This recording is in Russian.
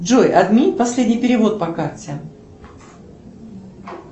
джой отмени последний перевод по карте